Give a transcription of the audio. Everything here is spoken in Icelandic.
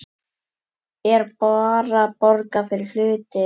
Er bara borgað fyrir hluti?